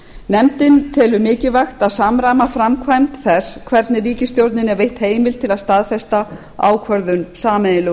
nefndin telur mikilvægt að samræma framkvæmd þess hvernig ríkisstjórninni er veitt heimild til að staðfesta ákvörðun sameiginlegu e